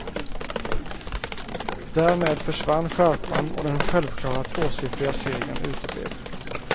Därmed försvann skärpan och den självklara tvåsiffriga segern uteblev.